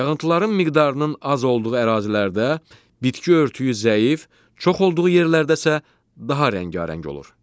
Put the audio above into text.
Yağıntıların miqdarının az olduğu ərazilərdə bitki örtüyü zəif, çox olduğu yerlərdə isə daha rəngarəng olur.